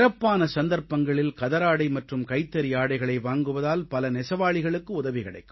சிறப்பான சந்தர்ப்பங்களில் கதராடை மற்றும் கைத்தறியாடைகளை வாங்குவதால் பல நெசவாளிகளுக்கு உதவி கிடைக்கும்